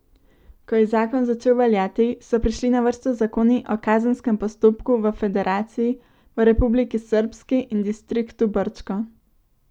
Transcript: Ko je zakon začel veljati, so prišli na vrsto zakoni o kazenskem postopku v federaciji, v Republiki srbski in distriktu Brčko.